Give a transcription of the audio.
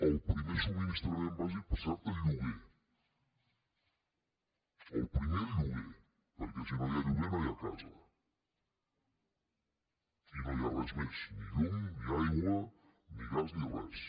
el primer subministrament bàsic per cert el lloguer el primer el lloguer perquè si no hi ha lloguer no hi ha casa i no hi ha res més ni llum ni aigua ni gas ni res